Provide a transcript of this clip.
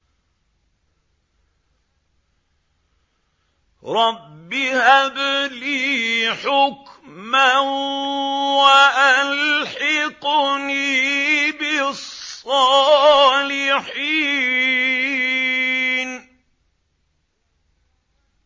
رَبِّ هَبْ لِي حُكْمًا وَأَلْحِقْنِي بِالصَّالِحِينَ